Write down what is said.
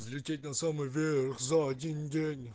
взлететь на самый верх за один день